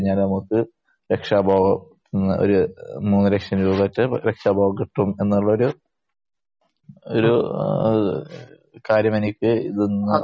കഴിഞ്ഞാൽ നമുക്ക് രക്ഷാബോധത്തിൽ നിന്ന് മൂന്ന് ലക്ഷം രൂപ അടെൻ കിട്ടും എന്നുള്ള ഒരു ഒരു കാര്യമെനിക്ക്